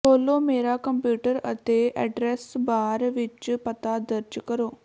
ਖੋਲ੍ਹੋ ਮੇਰਾ ਕੰਪਿਊਟਰ ਅਤੇ ਐਡਰੈੱਸ ਬਾਰ ਵਿੱਚ ਪਤਾ ਦਰਜ ਕਰੋ